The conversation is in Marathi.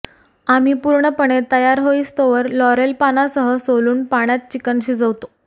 आम्ही पूर्णपणे तयार होईस्तोवर लॉरेल पानासह सोलून पाण्यात चिकन शिजवतो